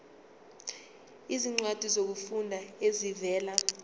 izincwadi zokufunda ezivela